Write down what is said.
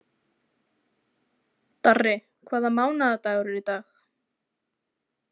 Darri, hvaða mánaðardagur er í dag?